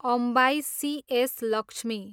Ambai, C S. Lakshmi